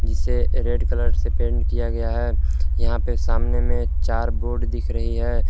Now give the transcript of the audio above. जिसे red colour से paint किया गया है यहां पे सामने में चार बोर्ड दिख रही है।